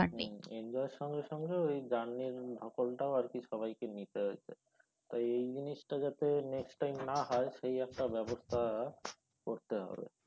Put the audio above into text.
enjoy এর সঙ্গে সঙ্গে ওই journey এর ধকলটাও আর কি সবাই কে নিতে হয়েছে এই জিনিসটা যাতে next time না হয় সেই একটা ব্যবস্থা করতে হবে